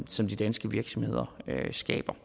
som de danske virksomheder skaber